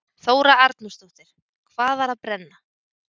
Þóra Arnórsdóttir: Hvað var að brenna?